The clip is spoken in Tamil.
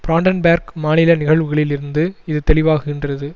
பிராண்டன்பேர்க் மாநில நிகழ்வுகளில் இருந்து இது தெளிவாகுகின்றது